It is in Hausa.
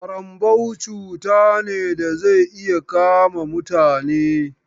ƙarambau cuta ne da zai iya kama mutane.